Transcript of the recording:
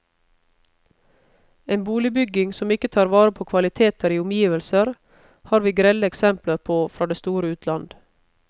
En boligbygging som ikke tar vare på kvaliteter i omgivelser, har vi grelle eksempler på fra det store utland.